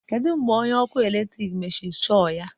kedu mgbe onye ọkụ eletrik mechiri shol ya